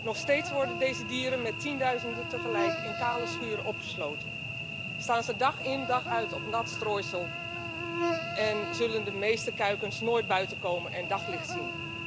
Nog steeds worden deze dieren met tienduizenden tegelijk in kale schuren opgesloten, staan ze dag in dag uit op nat strooisel en zullen de meeste kuikens nooit buiten komen en daglicht zien.